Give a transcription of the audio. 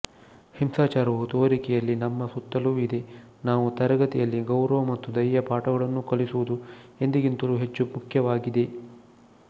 ಹಿಂಸಾಚಾರವು ತೋರಿಕೆಯಲ್ಲಿ ನಮ್ಮ ಸುತ್ತಲೂ ಇದೆ ನಾವು ತರಗತಿಯಲ್ಲಿ ಗೌರವ ಮತ್ತು ದಯೆಯ ಪಾಠಗಳನ್ನು ಕಲಿಸುವುದು ಎಂದಿಗಿಂತಲೂ ಹೆಚ್ಚು ಮುಖ್ಯವಾಗಿದೆ